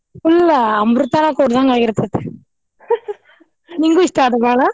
Full ಅಮೃತಾನ ಕುಡದಂಗ್ ಆಗಿರ್ತೇತಿ. ನಿಂಗು ಇಷ್ಟ ಆದ್ ಬಾಳ?